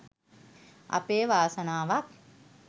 අපේ වාසනාවක්